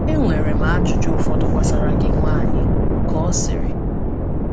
“Enwere m ajụjụ ụfọdụ gbasara gị, nwaanyị,” ka ọ sịrị.